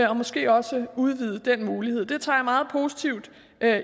og måske også udvide den mulighed det tager jeg meget positivt